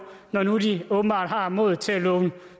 når nu de åbenbart har modet til at love